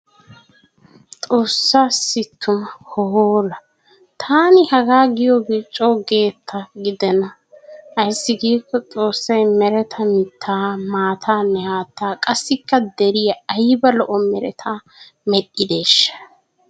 Xoossaassi tuna hoola! Taani hagaa giyogee coo geetta gidenna. Ayssi giikko xoossay mereta mittaa, maataanne haattaa qassikka deriya ayba lo'o meretta medhdhideeshsha.